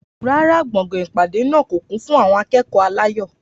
Rárá, gbọ̀ngàn ìpàdé náà kò kún fún àwọn akẹ́kọ̀ọ́ aláyọ̀.